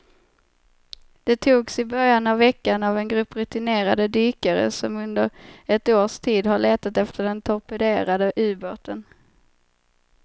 De togs i början av veckan av en grupp rutinerade dykare som under ett års tid har letat efter den torpederade ubåten.